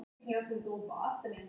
Eldhress að vanda.